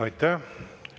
Aitäh!